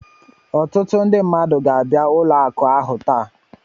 Ọtụtụ ndị mmadụ ga-abịa ụlọ akụ ahụ taa